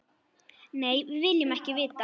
Nei, við viljum ekki vita.